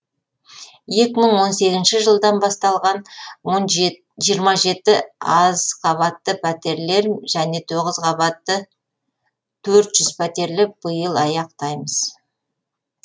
екі мың он сегізінші жылдан басталған жиырма жеті азқабатты пәтерлер және тоғыз қабатты төрт жүз пәтерлі биыл аяқтаймыз